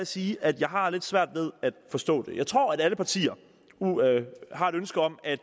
sige at jeg har lidt svært ved at forstå det jeg tror at alle partier har et ønske om at